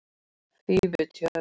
Fífutjörn